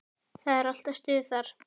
Það er alltaf stuð þar.